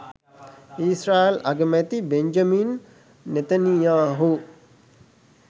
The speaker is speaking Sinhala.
ඊශ්‍රායල් අගමැති බෙන්ජමින් නෙතනියාහු